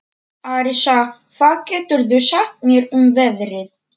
Arisa, hvað geturðu sagt mér um veðrið?